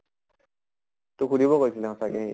তোক সুধিব কৈছিলে সঁচাকে সি